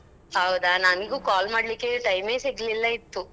ಹೌದಾ ನನ್ಗು call ಮಾಡ್ಲಿಕ್ಕೆ time ಎ ಸಿಗ್ಲಿಲ್ಲ ಇತ್ತು.